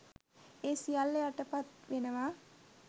ඒ සියල්ල යටපත් වෙනවා